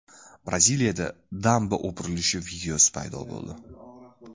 Braziliyada damba o‘pirilishi videosi paydo bo‘ldi .